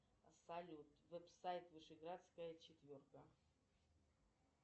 салют веб сайт вышеградская четверка